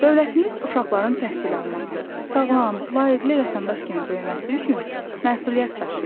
Dövlətimiz uşaqların təhsil alması, sağlam, layiqli vətəndaş kimi böyüməsi üçün məsuliyyət daşıyır.